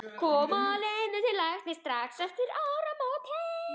Koma Lenu til læknis strax eftir áramótin.